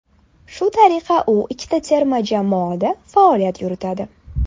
Shu tariqa u ikkita terma jamoada faoliyat yuritadi.